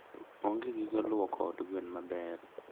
onge gige luoko od gwen maber.